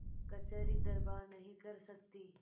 कचहरीदरबार नहीं कर सकती